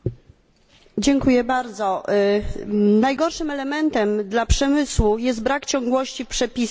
Najgorszym elementem dla przemysłu jest brak ciągłości w przepisach i nieprzewidywalność w dłuższym okresie.